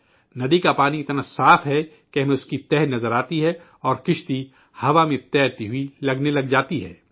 ندی کا پانی اتنا صاف ہے کہ ہمیں اس کی تلہٹی نظر آتی ہے اور کشتی ہوا میں تیرتی سے لگ جاتی ہے